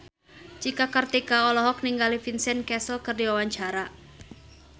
Cika Kartika olohok ningali Vincent Cassel keur diwawancara